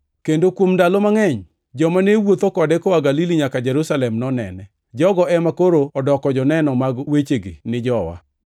kendo kuom ndalo mangʼeny, joma ne wuotho kode koa Galili nyaka Jerusalem nonene. Jogo ema koro odoko joneno mag wechegi ni jowa.